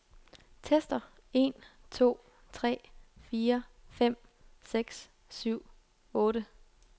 Tester en to tre fire fem seks syv otte.